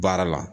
Baara la